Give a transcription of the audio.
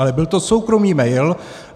Ale byl to soukromý mail.